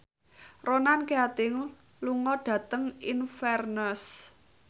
Ronan Keating lunga dhateng Inverness